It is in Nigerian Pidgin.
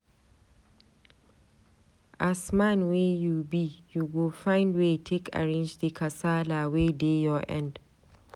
As man wey you be, you go find way take arrange di kasala wey dey your end.